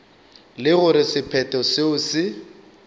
le gore sephetho seo se